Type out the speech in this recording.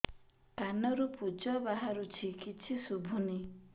କାନରୁ ପୂଜ ବାହାରୁଛି କିଛି ଶୁଭୁନି